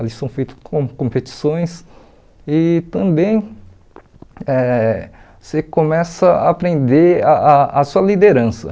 Ali são feitas com competições e também eh você começa a aprender a a a sua liderança.